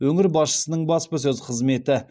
өңір басшысының баспасөз қызметі